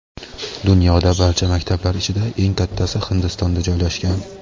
Dunyodagi barcha maktablar ichida eng kattasi Hindistonda joylashgan.